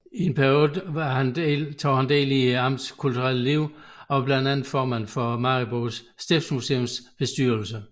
I den periode tog han del i amtets kulturelle liv og var blandt andet formand for Maribo Stiftsmuseums bestyrelse